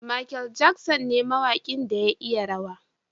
Mikel Jackson ne mawakin da ya iya rawa.